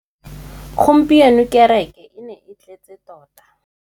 Gompieno kêrêkê e ne e tletse tota.